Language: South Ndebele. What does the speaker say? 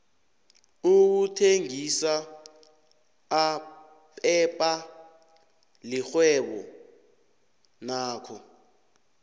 ukuthengisa aphepha lixhwebo nakho